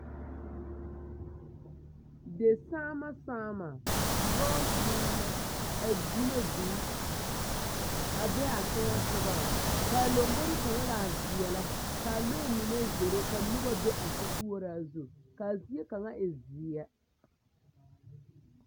Desaama saama, lɔɔsaama, a di na vūū, a be a teŋɛsoŋɔŋ, k'a lombori kaŋa gaa veɛlɛ, k'a lɔɛ mine a zoro ka noba mine be a sokoɔraa zu, k'a zie kaŋa e zie.